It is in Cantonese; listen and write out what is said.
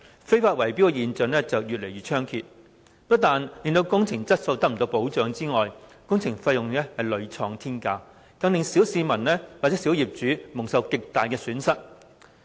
非法圍標現象越來越猖獗，不但令工程質素得不到保障，工程費用更屢創天價，令小市民和小業主蒙受極大損失。